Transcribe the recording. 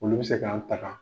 Olu bɛ se k'an tagan.